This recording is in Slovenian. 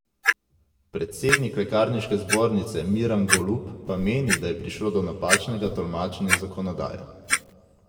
Predsednik lekarniške zbornice Miran Golub pa meni, da je prišlo do napačnega tolmačenja zakonodaje.